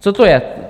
Co to je?